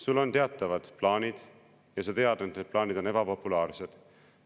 Sul on teatavad plaanid ja sa tead, et need plaanid on ebapopulaarsed.